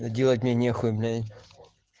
делать мне нехуй блять